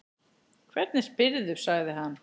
Hvernig spyrðu, sagði hann.